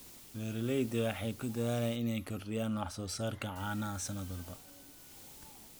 Beeraleydu waxay ku dadaalaan inay kordhiyaan wax soo saarka caanaha sanad walba.